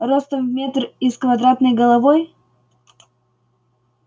ростом в метр и с квадратной головой